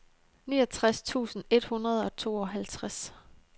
niogtres tusind et hundrede og tooghalvtreds